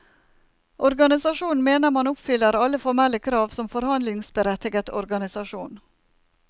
Organisasjonen mener man oppfyller alle formelle krav som forhandlingsberettiget organisasjon.